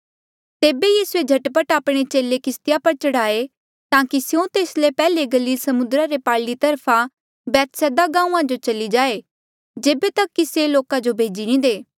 तेबे यीसूए झट पट आपणे चेले किस्तिया पर चढ़ाये ताकि स्यों तेस ले पैहले गलील समुद्रा रे पारली तरफ बैतसैदा गांऊँआं जो चली जाए जेबे तक कि से लोका जो भेजी नी दे